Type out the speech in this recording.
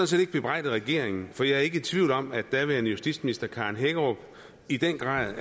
set ikke bebrejde regeringen for jeg er ikke i tvivl om at daværende justitsminister karen hækkerup i den grad